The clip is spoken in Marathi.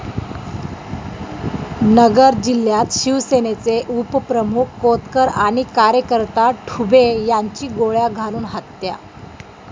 नगर जिल्ह्यात शिवसेनेचे उपप्रमुख कोतकर आणि कार्यकर्ता ठुबे यांची गोळ्या घालून हत्या